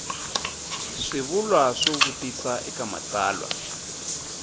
swivulwa swo vutisa eka matsalwa